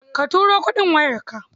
Ka tura kuɗin wayarka?